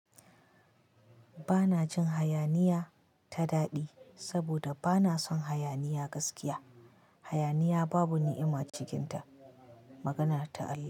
Bana jin hayaniya ta daɗi saboda bana son hayaniya gaskiya. Hayaniya babu ni'ima cikinta. Maganar ta Allah.